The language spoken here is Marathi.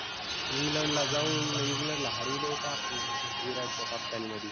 England ला जाऊन England ला हरविलं होतं आपुन. विराटच्या कप्तानी मधी.